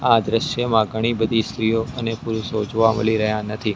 આ દ્રશ્યમાં ઘણી બધી સ્ત્રીઓ અને પુરુષો જોવા મલી રહ્યા નથી.